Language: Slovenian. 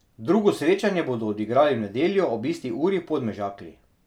Drugo srečanje bodo odigrali v nedeljo ob isti uri v Podmežakli.